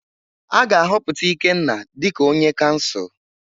A ga-ahọpụta Ikenna dịka onye kansụl.